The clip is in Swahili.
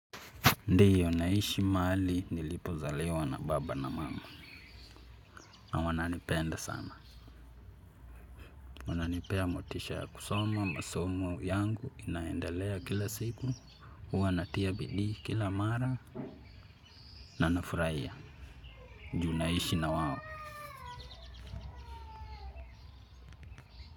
Ndiyo naishi mahali nilipozaliwa na baba na mama. Na wananipenda sama. Wananipea motisha kusoma masomo yangu inaendalea kila siku. Huwa natia bidii kila mara. Na nafuraia. Ju naishi na wao.